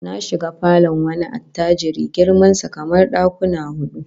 Na shiga falon wani attajiri girman sa kamar dakuma hudu